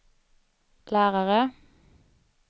lärare